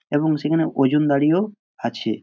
এবং সেখানে ওজন দাড়িও আছে।